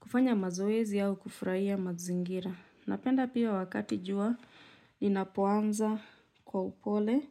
Kufanya mazoezi au kufurahia mazingira. Napenda pia wakati jua inapoanza kwa upole